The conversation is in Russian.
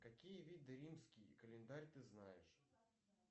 какие виды римский календарь ты знаешь